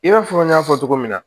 I b'a fɔ n y'a fɔ cogo min na